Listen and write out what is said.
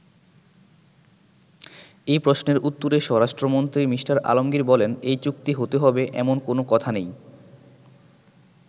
এ প্রশ্নের উত্তরে স্বরাষ্ট্রমন্ত্রী মি: আলমগির বলেন, “এই চুক্তি হতে হবে, এমন কোন কথা নেই।